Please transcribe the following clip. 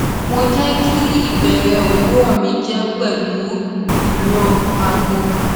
mo jé kì íbẹrẹ òwúrọ mi jẹ pẹlú ìró aago